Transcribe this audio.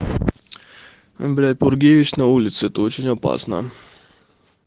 блять бургеевич на улице это очень опасно